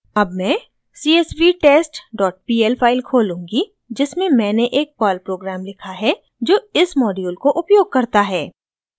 अब मैं csvtestpl file खोलूँगी जिसमें मैंने एक पर्ल प्रोग्राम लिखा है जो इस मॉड्यूल को उपयोग करता है